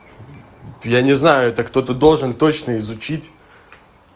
я не знаю это кто-то должен точно изучить